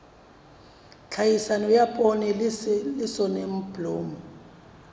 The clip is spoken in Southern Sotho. tlhahiso ya poone le soneblomo